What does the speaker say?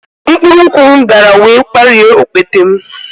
Mkpụrụ nkwụ m dara wee gbarie okpete m